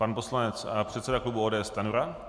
Pan poslanec a předseda klubu ODS Stanjura.